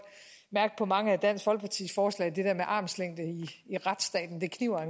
mærke på mange af dansk folkepartis forslag at det der med armslængde i retsstaten kniber